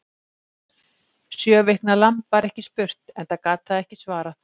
Sjö vikna lamb var ekki spurt, enda gat það ekki svarað.